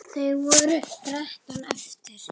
Það voru þrettán eftir!